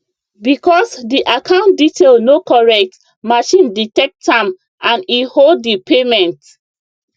because di account detail no correct machine detect am and e hold di payment